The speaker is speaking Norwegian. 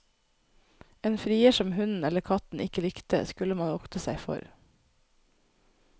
En frier som hunden eller katten ikke likte, skulle man vokte seg for.